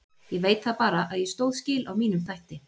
Ég veit það bara að ég stóð skil á mínum þætti.